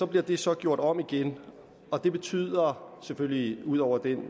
bliver det så gjort om igen og det betyder selvfølgelig ud over at